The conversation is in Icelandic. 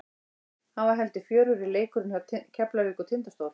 Hann var heldur fjörugri leikurinn hjá Keflavík og Tindastól.